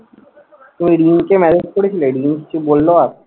তুমি রিমিকে messege করেছিলে? রিমি কিছু বললো আর?